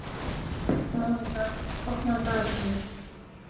Mónika, opnaðu dagatalið mitt.